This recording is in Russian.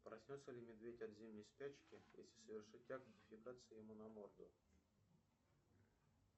проснется ли медведь от зимней спячки если совершить акт дефекации ему на морду